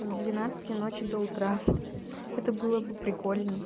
с двенадцати ночи до утра это было бы прикольно